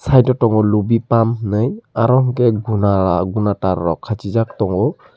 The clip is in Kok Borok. pai ta tongo lubi pump henoi aro ke guna guna taar rok kachi jaak tongo.